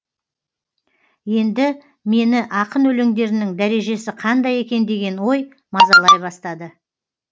енді мені ақын өлеңдерінің дәрежесі қандай екен деген ой мазалай бастады